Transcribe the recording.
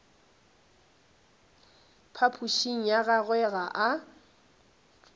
phapošing ya gagwe ga a